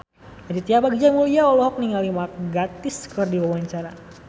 Aditya Bagja Mulyana olohok ningali Mark Gatiss keur diwawancara